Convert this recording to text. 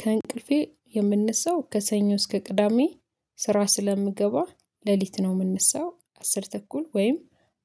ከእንቅልፌ የምንሳው ከሰኞ እስከ ቅዳሜ ስራ ስለምገባ ሌሊት ነው የምነሳው አስር ተኩል ወይም